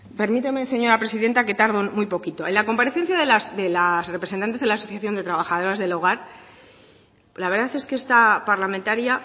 permíteme señora presidenta que tardo muy poquito en la comparecencia de las representantes de la asociación de las trabajadoras del hogar la verdad es que esta parlamentaria